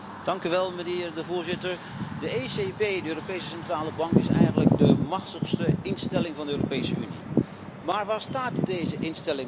Voorzitter, de ECB, de Europese Centrale Bank is eigenlijk de machtigste instelling van de Europese Unie. Maar waar staat deze instelling op dit moment?